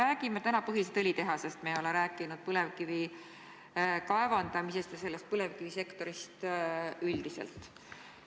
Me oleme täna rääkinud põhiliselt õlitehasest, aga me ei ole rääkinud põlevkivi kaevandamisest ja põlevkivisektorist üldiselt.